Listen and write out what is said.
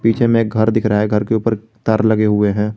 पीछे में एक घर दिख रहा है घर के ऊपर तार लगे हुए हैं।